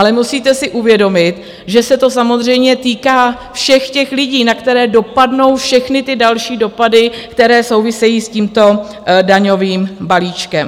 Ale musíte si uvědomit, že se to samozřejmě týká všech těch lidí, na které dopadnou všechny ty další dopady, které souvisejí s tímto daňovým balíčkem.